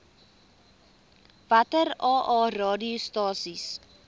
watter aa radiostasies